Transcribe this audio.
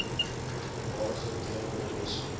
voormalige doo skole